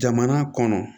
Jamana kɔnɔ